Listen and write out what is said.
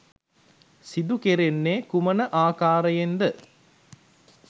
සිදු කෙරෙන්නේ කුමන ආකාරයෙන්ද?